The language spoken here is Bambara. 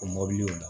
O mɔbiliw